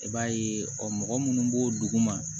I b'a ye ɔ mɔgɔ minnu b'o dugu ma